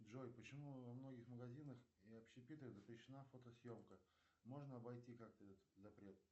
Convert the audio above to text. джой почему во многих магазинах и общепитах запрещена фотосъемка можно обойти как то этот запрет